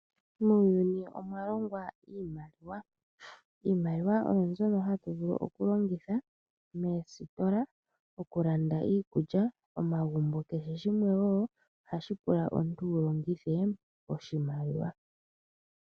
Muuyuni omwa longwa iimaliwa, iimaliwa oyo mbyono hatu vulu okulongitha moositola, okulanda iikulya, omagumbo. Kehe shimwe wo ohashi pula omuntu wu longithe oshimaliwa.